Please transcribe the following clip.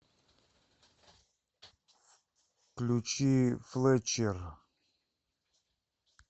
включи флетчер